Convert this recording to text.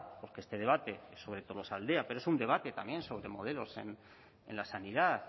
porque este debate es sobre tolosaldea pero es un debate también sobre modelos en la sanidad